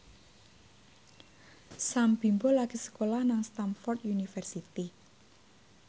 Sam Bimbo lagi sekolah nang Stamford University